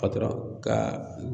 Patɔrɔn ka